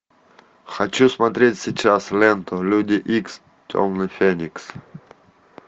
хочу смотреть сейчас ленту люди икс темный феникс